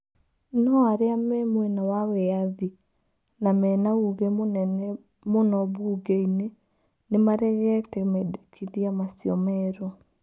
No arĩa me mwena wa wĩathĩ na menauuge mũnene mũno bumgei-nĩ nĩmaregete mendĩkithia macio merũ.